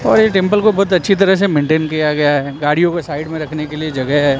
और ये डिंपल को बहुत अच्छी तरह से मेंटेन किया गया है गाड़ियों के साइड में रखने के लिए जगह है।